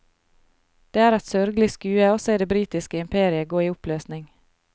Det er et sørgelig skue å se det britiske imperiet gå i oppløsning.